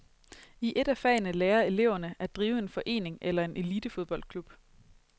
I et af fagene lærer eleverne at drive en forening eller en elitefodboldklub.